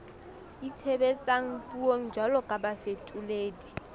itshebetsang puong jwalo ka bafetoledi